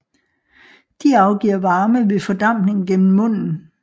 De afgiver varme ved fordampning gennem munden